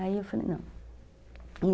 Aí eu falei, não.